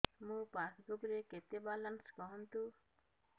ମୋ ପାସବୁକ୍ ରେ କେତେ ବାଲାନ୍ସ କୁହନ୍ତୁ